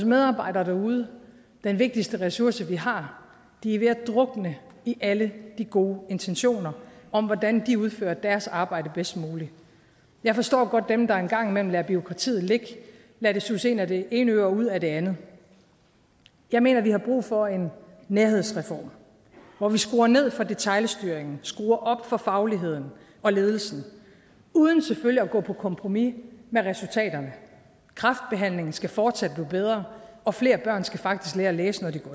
medarbejdere derude den vigtigste ressource vi har er ved at drukne i alle de gode intentioner om hvordan de udfører deres arbejde bedst muligt jeg forstår godt dem der en gang imellem lader bureaukratiet ligge lader det suse ind ad det ene øre og ud af det andet jeg mener vi har brug for en nærhedsreform hvor vi skruer ned for detailstyringen og skruer op for fagligheden og ledelsen uden selvfølgelig at gå på kompromis med resultaterne kræftbehandlingen skal fortsat blive bedre og flere børn skal faktisk lære at læse når